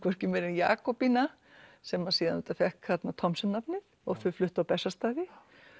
Jakobína sem að síðan auðvitað fékk Thomsen nafnið og þau fluttu á Bessastaði